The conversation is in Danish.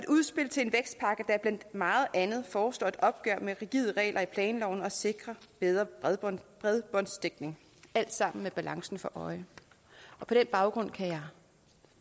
udspil til en vækstpakke der blandt meget andet foreslår et opgør med rigide regler i planloven og sikrer bedre bredbåndsdækning alt sammen med balancen for øje på den baggrund kan jeg